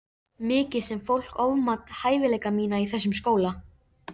Mikið sem fólk ofmat hæfileika mína í þessum skóla.